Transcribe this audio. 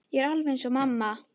Ég er alveg eins og mamma.